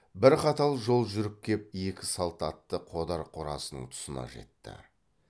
бір қатал жол жүріп кеп екі салт атты қодар қорасының тұсына жетті